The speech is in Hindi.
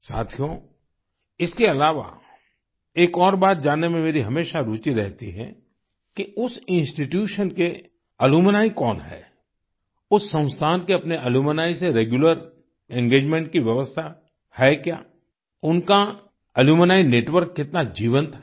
साथियो इसके अलावा एक और बात जानने में मेरी हमेशा रूचि रहती है कि उस इंस्टीट्यूशन के अलुम्नी कौन हैं उस संस्थान के अपने अलुम्नी से रेग्यूलर एंगेजमेंट की व्यवस्था है क्या उनका अलुम्नी नेटवर्क कितना जीवंत है